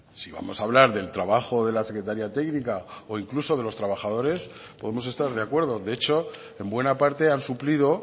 si vamos a hablar del trabajo de la secretaría técnica o incluso de los trabajadores podemos estar de acuerdo de hecho en buena parte han suplido